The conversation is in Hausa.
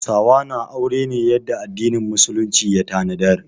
Hausawa na aure ne yadda addinin musulunci ya tanadar.